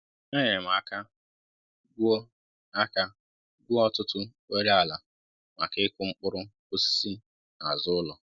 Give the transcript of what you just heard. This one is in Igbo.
É nyere m aka gwuo aka gwuo ọtụtụ oghere ala maka ịkụ mkpụrụ osisi na azụ ụlọ